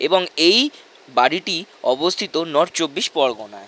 এবং এই বাড়িটি অবস্থিত নর্থ চব্বিশ পরগনায়।